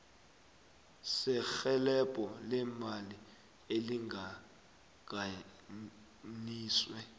serhelebho leemali elihlanganiswe